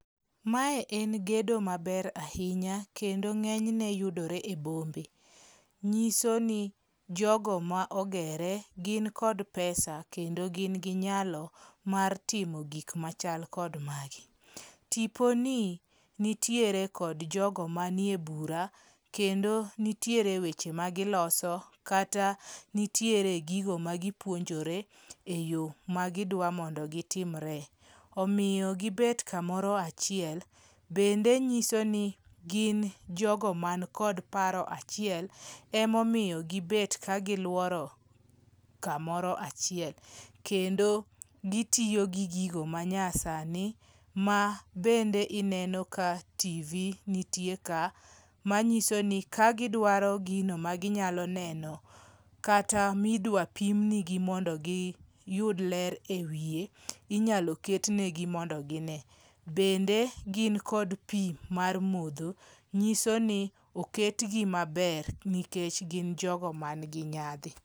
Mae en gedo maber ahinya kendo ng'enyne yudore e bombe, nyiso ni jogo ma ogere gin kod pesa, kendo gin gi nyalo mar timo gik machal kod magi. Tiponi nitiere kod jogo manie bura kendo nitiere weche magiloso kata nitiere gigo magipuonjore e yo magidwa mondo gitimre. Omiyo gibet kamoro achiel, bende nyiso ni gin jogo manikod paro achiel, emomiyo gibed kagiluoro kamoro achiel. Kendo gitiyo gi gigo manyasani mabende ineno ka TV nitie ka, manyiso ni kagidwaro neno gino maginyalo neno, kata midwa pim nigi mondo giyud ler e wiye, inyalo ket negi mondo gi ne. Bende gin kod pi mar modho. Nyiso ni oketgi maber nikech gin jogo manigi nyadhi.